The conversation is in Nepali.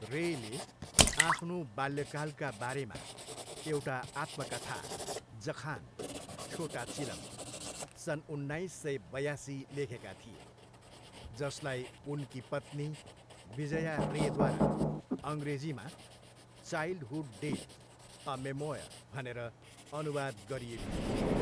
रेले आफ्नो बाल्यकालका बारेमा एउटा आत्मकथा, जखान, छोटा चिलम, सन् उन्नाइस सय बयासी लेखेका थिए, जसलाई उनकी पत्नी विजया रेद्वारा अङ्ग्रेजीमा चाइल्डहुड डेज, ए मेमोयर भनेर अनुवाद गरिएको थियो।